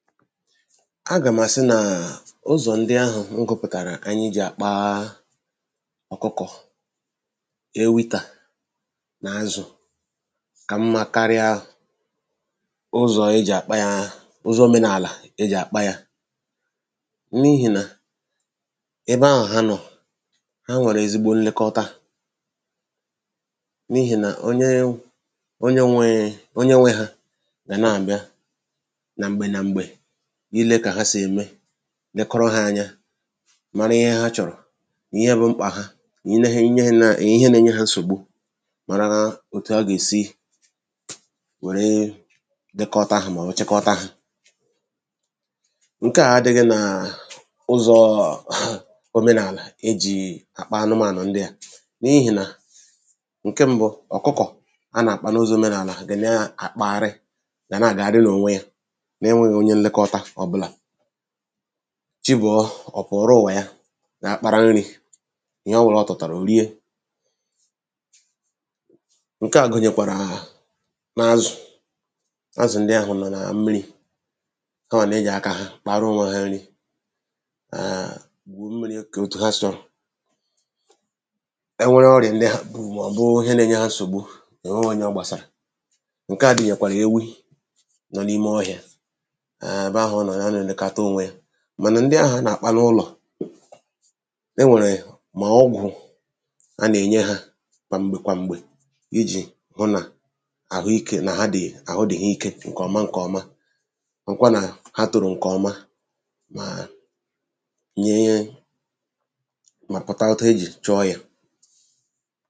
agà m̀ àsị nàà u̩zọ̀ ndị ahụ̀ m gụpụtàrà ànyị jì àkpa ọ̀kụkọ̀ ewità nà azụ̀ kà mmā karịa ụzọ̀ e jì àkpa hā ụzọ̄ omenàlà e jì àkpa yā n’ihì nà ebe ahụ̀ ha nọ̀ ha nwèrè ezigbo nlekọta n’ihì nà onye onye enweghī̄ onye nwē hā gà na-àbịa nà m̀gbè nà m̀gbè ile kà ha sì ème nekọrọ hā ānyā mara ihe ha chọ̀rọ̀ ni ihe bụ̄ mkpạ̀ ha ni nehi nā nà ihe na-enye hā nsògbu mara otu a gà-èsi wère dekọta hā mọ̀ọ̀ chịkọta hā ṅ̀ke à adị̄ghị̄ nà ụzọ̄ọ̀ omenàlà e jì àkpa anụmānụ̀ ndịà n’ihì nà ṅ̀ke m̄bụ̄ ọ̀kụkọ̀ a nà-àkpa n’ụzọ omenala gà na-àkpagharị gà na-ạgagharị n’ònwe yā na-enwēghī onye nlekọta ọ̣bụ̣là chi bọ̀ọ ọ̀ pụ̀ọ̀rọ ùwà ya ga kpara nrī ihe ọbụ̄là ọ tụtàrà ò rie ṅke à gụ̀nyèkwàrà hà n’azù̩ azù ndị ahụ̀ nọ̀ nà mmirī ha nà-ejì̀ akā ha kpaara onwe hā nri èèèǹ gwù miri kè otu ha sọ̄ e nwere ọrịà ndị ha bù màọ̀bụ́ụ́ ihe nā-enye ò nweghī onye ọ gbàsàrà ṅke à dịyàkwà n’ewi nọ n’ímé ọhịā eebe ahụ̀ ọ nọ̀ ya nà-èlekata onwe ye mànà ndị ahụ̀ a nà-àkpa n’ụlọ̀ e nwèrè mà ọgwụ̀ a nà-ènye hā kwà m̀gbè kwà m̀gbè ijì hụ nà àhụikē nà ha dị̀ àhụ dị̀ hà ike ṅ̀kè ọma ṅ̀kè ọma hụkwa nà ha tòrò ṅ̀kè ọma màà nyee mà pụta etu e jì chọọ yā